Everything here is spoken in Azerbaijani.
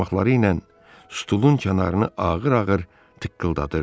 Barmaqları ilə stulun kənarını ağır-ağır tıqqıldadırdı.